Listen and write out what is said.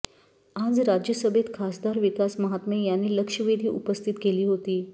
आज राज्यसभेत खासदार विकास महात्मे यांनी लक्षवेधी उपस्थित केली होती